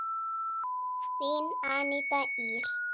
Þín Aníta Ýr.